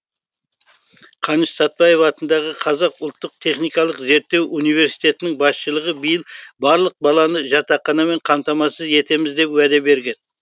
қаныш сәтбаев атындағы қазақ ұлттық техникалық зерттеу университетінің басшылығы биыл барлық баланы жатақханамен қамтамасыз етеміз деп уәде берген